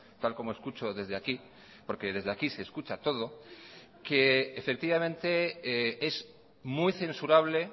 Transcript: tal como escucho desde aquí porque desde aquí se escucha todo que efectivamente es muy censurable